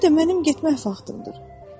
Bir də mənim getmək vaxtımdır.